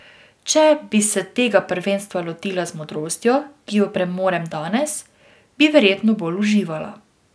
Če bi se tega prvenstva lotila z modrostjo, ki jo premorem danes, bi verjetno bolj uživala.